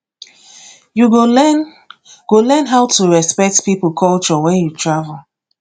you go learn go learn how to respect people culture when you travel